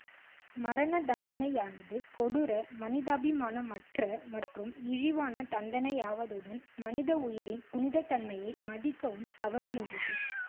மரண தண்டனையானது கொடூர மனிதாபிமானமற்ற மற்றும் இழிவான தண்டனையாவதுடன் மனித உயிரின் புனித்தன்மையை மதிக்கவும் தவறுகின்றது